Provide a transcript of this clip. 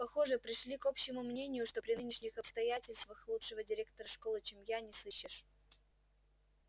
похоже пришли к общему мнению что при нынешних обстоятельствах лучшего директора школы чем я не сыщешь